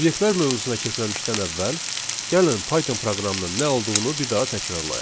Obyektlər mövzusuna keçməmişdən əvvəl gəlin Python proqramının nə olduğunu bir daha təkrarlayaq.